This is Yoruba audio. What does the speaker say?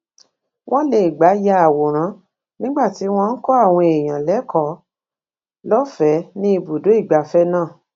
wón lè gbà ya àwòrán nígbà tí wón ń kó àwọn èèyàn lékòó lófèé ní ibùdó ìgbafé náà